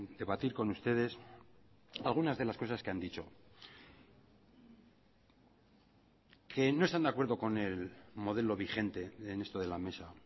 debatir con ustedes algunas de las cosas que han dicho que no están de acuerdo con el modelo vigente en esto de la mesa